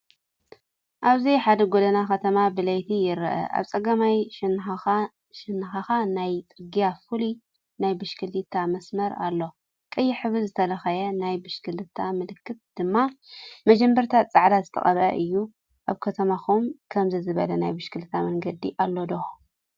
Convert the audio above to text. ኣብዚ ሓደ ጎደና ከተማ ብለይቲ ይርአ። ኣብ ጸጋማይ ሸነኽ ናይቲ ጽርግያ ፍሉይ ናይ ብሽክለታ መስመር ኣሎ፡ ቀይሕ ሕብሪ ዝተለኽየ፡ ናይ ብሽክለታ ምልክት ድማ ብመጀመርታ ጻዕዳ ዝተቐብአ እዩ። ኣብ ከተማኹም ከምዚ ዝበለ ናይ ብሽክለታ መንገዲ ኣሎ ዶ?